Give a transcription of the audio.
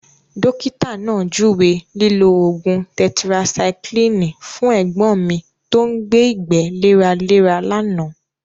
Dókítà náà juwe lilo oogun tẹtirasyclini fún ẹ̀gbọ́n mi tó ń gbé ìgbẹ́ léraléra lánàá.